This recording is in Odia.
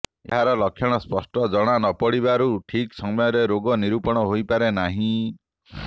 ଏହାର ଲକ୍ଷଣ ସ୍ପଷ୍ଟ ଜଣା ନ ପଡ଼ିବାରୁ ଠିକ୍ ସମୟରେ ରୋଗ ନିରୂପଣ ହୋଇପାରେ ନାହିଁ